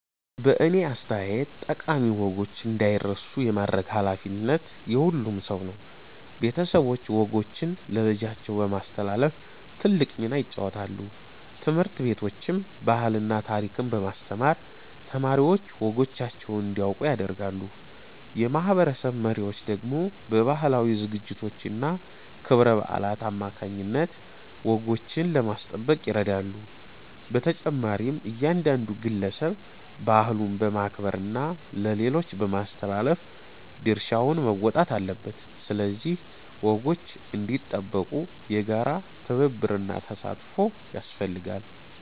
በእኔ አስተያየት ጠቃሚ ወጎች እንዳይረሱ የማድረግ ኃላፊነት የሁሉም ሰው ነው። ቤተሰቦች ወጎችን ለልጆቻቸው በማስተላለፍ ትልቅ ሚና ይጫወታሉ። ትምህርት ቤቶችም ባህልና ታሪክን በማስተማር ተማሪዎች ወጎቻቸውን እንዲያውቁ ያደርጋሉ። የማህበረሰብ መሪዎች ደግሞ በባህላዊ ዝግጅቶችና ክብረ በዓላት አማካይነት ወጎችን ለማስጠበቅ ይረዳሉ። በተጨማሪም እያንዳንዱ ግለሰብ ባህሉን በማክበርና ለሌሎች በማስተላለፍ ድርሻውን መወጣት አለበት። ስለዚህ ወጎች እንዲጠበቁ የጋራ ትብብርና ተሳትፎ ያስፈልጋል።